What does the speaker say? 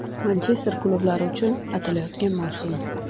Manchester klublari uchun atalayotgan mavsum.